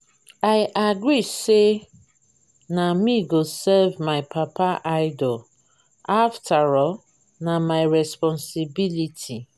i agree say na me go serve my papa idol after all na my responsibility.